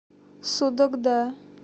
судогда